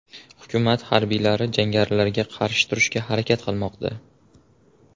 Hukumat harbiylari jangarilarga qarshi turishga harakat qilmoqda.